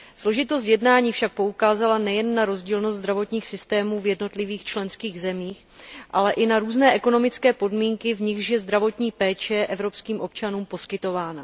Složitost jednání však poukázala nejen na rozdílnost zdravotních systémů v jednotlivých členských zemích, ale i na různé ekonomické podmínky, v nichž je zdravotní péče evropským občanům poskytována.